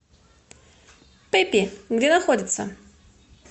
пеппи где находится